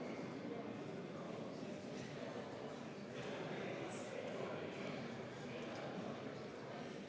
Kui nüüd ettekandja ise seda tunnistab, siis on teine asi.